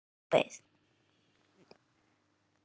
Ég beið og beið og beið!